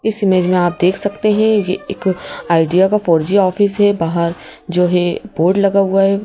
इस इमेज में आप देख सकते हैं यह एक आइडिया का फोर जी ऑफिस है बाहर जो है बोर्ड लगा हुआ है।